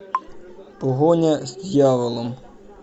погоня с дьяволом